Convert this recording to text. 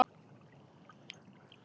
Hætta umskurði kvenna